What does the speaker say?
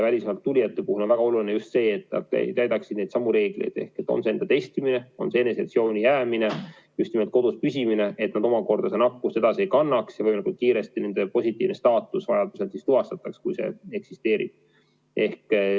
Välismaalt tulijate puhul on väga oluline just see, et nad täidaksid neidsamu reegleid – on see enda testimine, on see eneseisolatsiooni jäämine, just nimelt kodus püsimine, et nad omakorda nakkust edasi ei kannaks ja võimalikult kiiresti nende positiivsus tuvastataks, kui see eksisteerib.